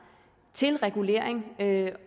til regulering